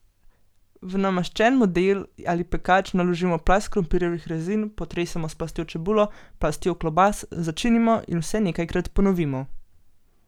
V namaščen model ali pekač naložimo plast krompirjevih rezin, potresemo s plastjo čebule, plastjo klobas, začinimo in vse nekajkrat ponovimo.